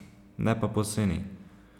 Ne pa poceni.